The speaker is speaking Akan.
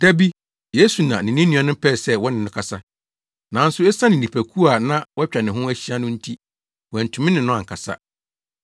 Da bi, Yesu na ne ne nuanom pɛɛ sɛ wɔne no kasa, nanso esiane nnipakuw a na wɔatwa ne ho ahyia no nti, wɔantumi ne no ankasa.